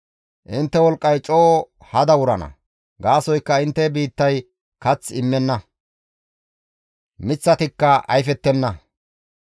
Intte wolqqay coo hada wurana; gaasoykka intte biittay kath immenna; miththatikka ayfettenna.